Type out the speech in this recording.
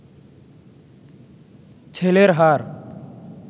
ছেলের হাড়